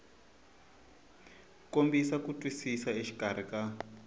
kombisa ku twisisa exikarhi ka